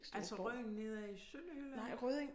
Altså Rødding nede i Sønderjylland?